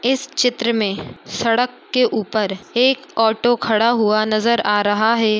इस चित्र में सड़क के ऊपर एक ऑटो खड़ा हुआ नजर आ रहा है।